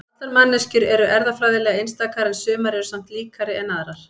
allar manneskjur eru erfðafræðilega einstakar en sumar eru samt líkari en aðrar